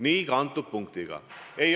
Nii on ka selle punktiga.